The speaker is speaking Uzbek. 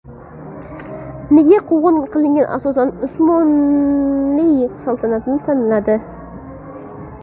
Nega quvg‘in qilinganlar, asosan, Usmonli saltanatini tanladi?